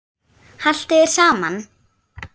Haltu þér saman